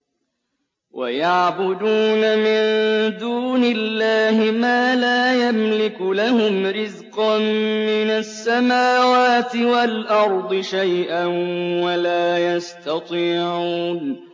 وَيَعْبُدُونَ مِن دُونِ اللَّهِ مَا لَا يَمْلِكُ لَهُمْ رِزْقًا مِّنَ السَّمَاوَاتِ وَالْأَرْضِ شَيْئًا وَلَا يَسْتَطِيعُونَ